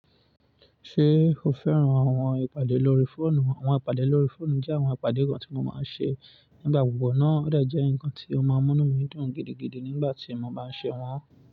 Ṣé o fẹ́ràn àwọn ìpàdé lórí fóònù? Àwọn ìpàdé lórí fóònù jẹ́ àwọn ìpàdé kan tí mo máa ń ṣe nígbà gbogbo, náà hẹ́ jẹ́ nǹkan tí ó máa ń múnú mi dùn gidigidi nígbà tí mo bá ń ṣe wọ́n.